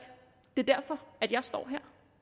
det er derfor jeg står